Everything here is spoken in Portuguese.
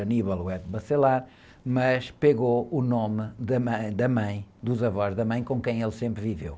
mas pegou o nome da mãe, da mãe, dos avós da mãe com quem ele sempre viveu.